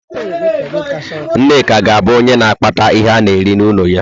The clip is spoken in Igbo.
Nneka ga-abụ onye na-akpata ihe ana-eri n'ụlọ ya.